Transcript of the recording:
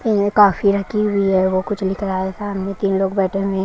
ये कॉफी रखी हुई है वो कुछ लिख रहा है सामने तीन लोग बैठे हुए--